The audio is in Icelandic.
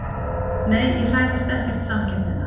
Nei ég hræðist ekkert samkeppnina.